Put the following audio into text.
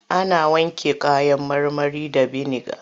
Ana wanke kayan marmari da biniga.